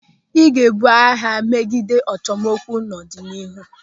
Ị ga-ebu agha megide achọmokwu n'ọdịnihu.